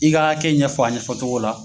I ka hakɛ kɛ ɲɛfɔ a ɲɛfɔ cogo la.